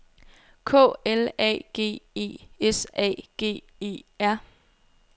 K L A G E S A G E R